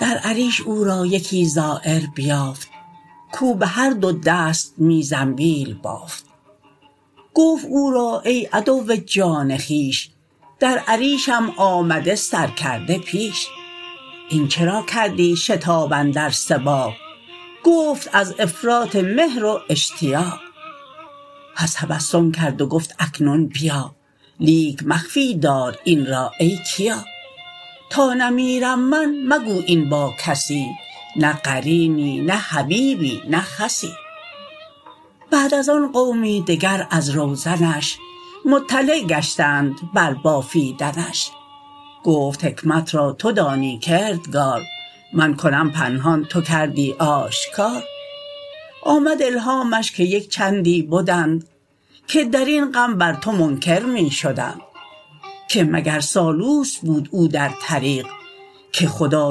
در عریش او را یکی زایر بیافت کو به هر دو دست می زنبیل بافت گفت او را ای عدو جان خویش در عریشم آمده سر کرده پیش این چراکردی شتاب اندر سباق گفت از افراط مهر و اشتیاق پس تبسم کرد و گفت اکنون بیا لیک مخفی دار این را ای کیا تا نمیرم من مگو این با کسی نه قرینی نه حبیبی نه خسی بعد از آن قومی دگر از روزنش مطلع گشتند بر بافیدنش گفت حکمت را تو دانی کردگار من کنم پنهان تو کردی آشکار آمد الهامش که یک چندی بدند که درین غم بر تو منکر می شدند که مگر سالوس بود او در طریق که خدا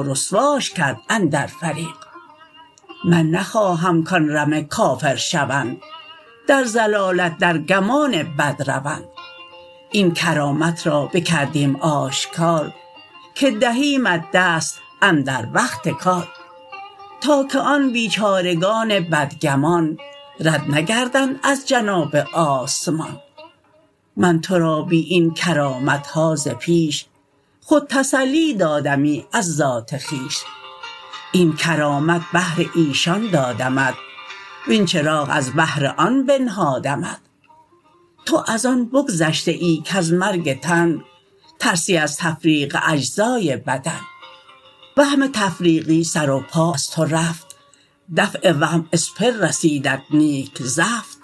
رسواش کرد اندر فریق من نخواهم کان رمه کافر شوند در ضلالت در گمان بد روند این کرامت را بکردیم آشکار که دهیمت دست اندر وقت کار تا که آن بیچارگان بد گمان رد نگردند از جناب آسمان من تورا بی این کرامتها ز پیش خود تسلی دادمی از ذات خویش این کرامت بهر ایشان دادمت وین چراغ از بهر آن بنهادمت تو از آن بگذشته ای کز مرگ تن ترسی وز تفریق اجزای بدن وهم تفریق سر و پا از تو رفت دفع وهم اسپر رسیدت نیک زفت